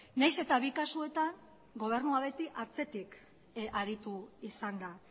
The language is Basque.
nahiz eta bi kasuetan gobernua beti atzetik aritu izan da